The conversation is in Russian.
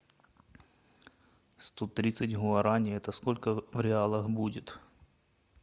сто тридцать гуарани это сколько в реалах будет